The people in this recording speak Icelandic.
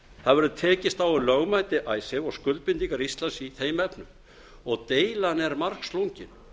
það verður tekist á um lögmæti icesave og skuldbindingar íslands í þeim efnum og deilan er margslungin